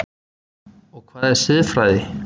Og hvað er siðfræði?